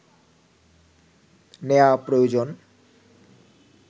নেয়া প্রয়োজন